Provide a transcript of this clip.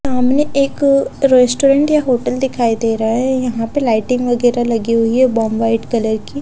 सामने एक रेस्टोरेंट या होटल दिखाई दे रहा है यहाँं पे लाइटिंग वगैरह लगी हुई है बॉम्ब व्हाइट कलर की --